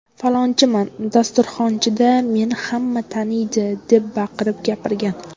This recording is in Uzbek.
Falonchiman, dasturxonchida meni hamma taniydi’ deb baqirib gapirgan.